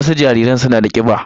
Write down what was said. Wasu jariran suna da kiba